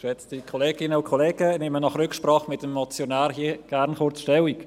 Ich nehme nach Rücksprache mit dem Motionär hier gerne kurz Stellung.